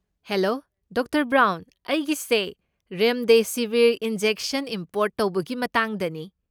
Hello doctor Brown. ꯑꯩꯒꯤꯁꯦ remdesivir injection import ꯇꯧꯕꯒꯤ ꯃꯇꯥꯡꯗꯅꯤ꯫